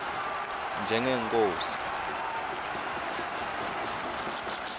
njengenkhosi